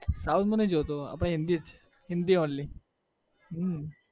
south હું નહિ જોતો આપણે હિન્દી જ હિન્દી only હમ